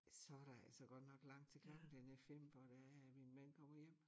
Så der altså godt nok langt til klokken den er 5 hvor det er at min mand kommer hjem